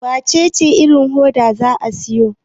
wacece irin hoda za a siyo?